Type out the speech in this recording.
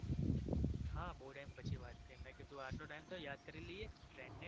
હા બવ time પછી વાત થયી મેં કીધું આટલો time થયો યાદ કરી લઈએ friend ને